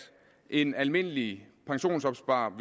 en almindelig pensionsopsparer